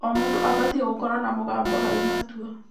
O mũndũ abatiĩ gũkorwo na mũgambo harĩ matua.